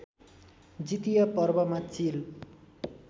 जितिया पर्वमा चिल